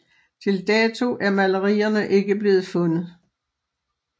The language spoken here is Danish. Til dato er malerierne ikke blevet fundet